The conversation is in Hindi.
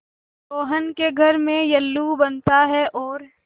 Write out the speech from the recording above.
रोहन के घर में येल्लू बनता है और